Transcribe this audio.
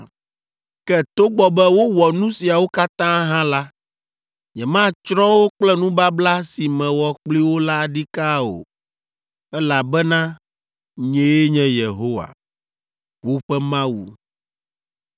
Ke togbɔ be wowɔ nu siawo katã hã la, nyematsrɔ̃ wo kple nubabla si mewɔ kpli wo la ɖikaa o, elabena nyee nye Yehowa, woƒe Mawu.